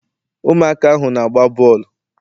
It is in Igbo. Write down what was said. ụmụaka ahụ na-agba bọọlụ